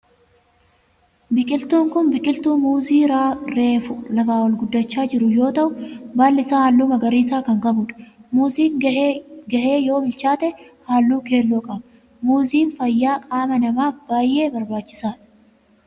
Biqiltuun kun biqiltuu muuzii reefu lafaa ol guddachaa jiru yoo ta'u baalli isaa halluu magariisa kan qabudha. Muuziin gahee yoo bilchaate halluu keelloo qaba. Muuziin fayyaa qaama namaaf baayyee barbaachisaadha.